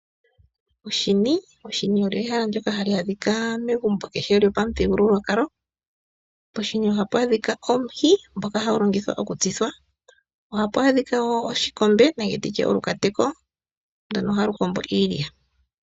Oshini. Oshini osho ehala ndoka hali adhika megumbo kehe lyopamuthigululwakalo. Poshini ohapu adhika omuhi ngoka hagu longithwa okutsithwa. Ohapu adhika wo oshikombe nenge nditye olukateko ndono haku kombo iilya.